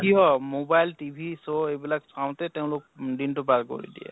কিহৰ mobile, TV, show এই বিলাক চাওঁতে তেওঁলোক দিন টো পাৰ কৰি দিয়ে